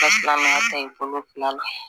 silamɛya ta i bolo la